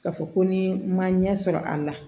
K'a fɔ ko ni ma ɲɛ sɔrɔ a la